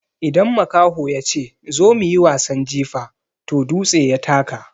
Idan makaho yace "zo mu yi wasan jifa" toh dutse ya taka.